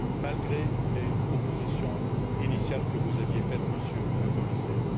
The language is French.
malgré les propositions initiales que vous aviez formulées, Monsieur le Commissaire.